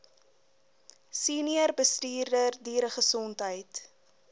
senior bestuurder dieregesondheid